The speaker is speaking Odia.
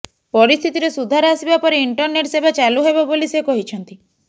ପରିସ୍ଥିତିରେ ସୁଧାର ଆସିବା ପରେ ଇଣ୍ଟରନେଟ୍ ସେବା ଚାଲୁ ହେବ ବୋଲି ସେ କହିଛନ୍ତି